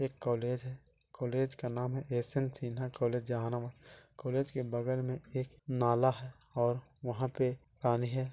एक कॉलेज है कॉलेज का नाम है एस_एन सिन्हा कॉलेज जहानम कॉलेज के बगल में एक नाला हैं और वहाँ पे है।